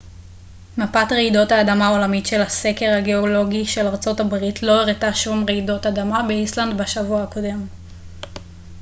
מפת רעידות האדמה העולמית של הסקר הגאולוגי של ארצות הברית לא הראתה שום רעידות אדמה באיסלנד בשבוע הקודם